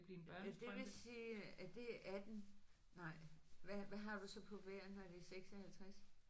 Ja det vil sige at det er 18 nej. Hvad har du så på hver når det er 56?